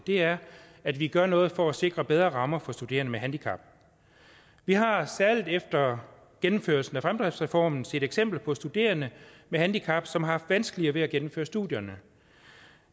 er at vi gør noget for at sikre bedre rammer for studerende med handicap vi har særlig efter gennemførelsen af fremdriftsreformen set eksempler på studerende med handicap som har haft vanskeligere ved at gennemføre studierne